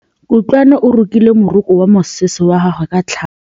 Kutlwanô o rokile morokô wa mosese wa gagwe ka tlhale.